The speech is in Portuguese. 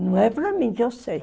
Não é para mim, que eu sei.